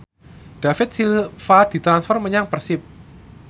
David Silva ditransfer menyang Persib